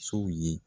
Sow ye